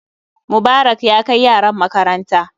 Mubarak ya kai yaran makaranta